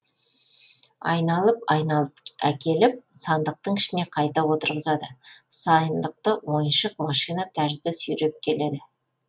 айналып айналып әкеліп сандықтың ішіне қайта отырғызады сайндықты ойыншық машина тәрізді сүйреп келеді